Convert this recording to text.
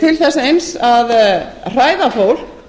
til þess eins að hræða fólk